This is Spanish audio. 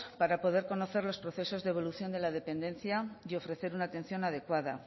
para poder conocer los procesos de evolución de la dependencia y ofrecer una atención adecuada